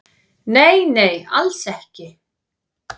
"""Nei, nei, alls ekki."""